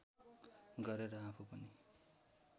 गरेर आफू पनि